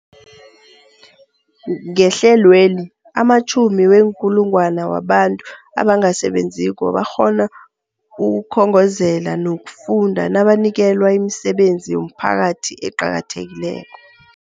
Ngehlelweli, amatjhumi weenkulungwana wabantu abangasebenziko bakghona ukukhongozela nokufunda nabanikelwa imisebenzi yomphakathi eqakathekileko.